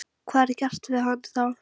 Hvað er gert við hann þar?